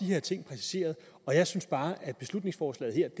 her ting præciseret og jeg synes bare at beslutningsforslaget her